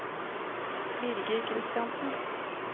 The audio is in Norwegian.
Birger Kristiansen